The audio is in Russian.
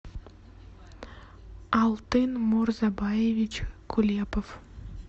алтын мурзабаевич кулепов